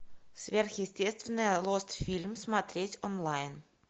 сверхъестественное лост фильм смотреть онлайн